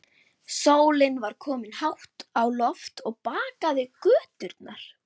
Sólin var komin hátt á loft og bakaði göturnar.